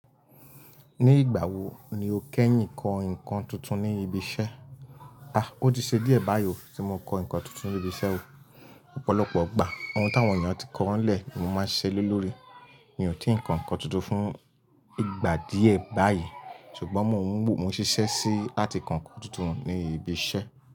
Ní ìgbà wo ni o kẹ́yìn kọ nǹkan tuntun ní ibi iṣẹ́? A! Ó ti ṣe díẹ̀ báyìí o tí mo kọ nǹkan tuntun ní ibi iṣẹ́ o. Ọ̀pọ̀lọpọ̀ igbà, ohun tí àwọn ènìyàn ti kọ wọ́n lẹ̀ ni mo máa ń ṣise lórí. Mi ò tí ì kọ nǹkan tuntun fún ìgbà díẹ̀ báyìí ṣùgbọ́n mò ń ṣiṣẹ́ sí láti kọ nǹkan tuntun ní ibi iṣẹ́